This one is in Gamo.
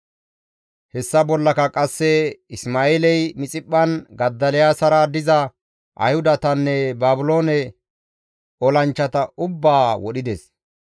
Hessa bollaka qasse Isma7eeley Mixiphphan Godoliyaasara diza Ayhudatanne Baabiloone olanchchata ubbaa wodhides.